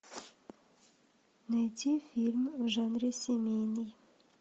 найти фильм в жанре семейный